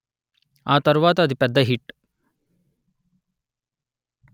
ఆ తరువాత అది పెద్ద హిట్